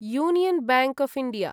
union bank of India